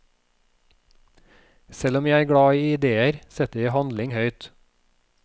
Selv om jeg er glad i ideer, setter jeg handling høyt.